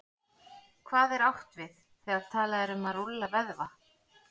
Hvað er átt við, þegar talað er um að rúlla vöðva?